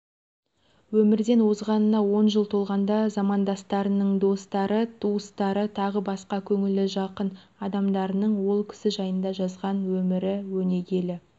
өмірден озғанына жыл толғанда замандастарының достары туыстары тағы басқа көңілі жақын адамдарының ол кісі жайында жазған өмірі өнегелі